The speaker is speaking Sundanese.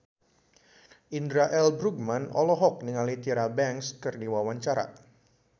Indra L. Bruggman olohok ningali Tyra Banks keur diwawancara